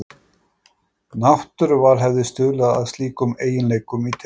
Náttúruval hefði stuðlað að slíkum eiginleikum í tegundinni.